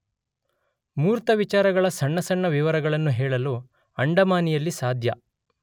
ಮೂರ್ತವಿಚಾರಗಳ ಸಣ್ಣ ಸಣ್ಣ ವಿವರಗಳನ್ನು ಹೇಳಲು ಅಂಡಮಾನಿಯಲ್ಲಿ ಸಾಧ್ಯ.